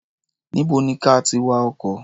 Níbo ni ka ti wa ọkọ̀?